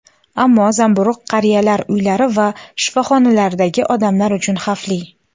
ammo zamburug‘ qariyalar uylari va shifoxonalardagi odamlar uchun xavfli.